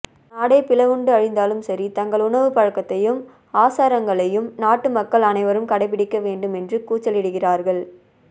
நாடே பிளவுண்டு அழிந்தாலும்சரி தங்கள் உணவுப்பழக்கத்தையும் ஆசாரங்களையும் நாட்டுமக்கள் அனைவரும் கடைப்பிடிக்கவேண்டும் என்று கூச்சலிடுகிறார்கள்